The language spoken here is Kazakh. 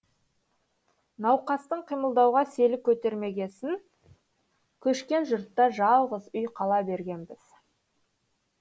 науқастың қимылдауға селі көтермегесін көшкен жұртта жалғыз үй қала бергенбіз